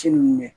Ci minnu mɛn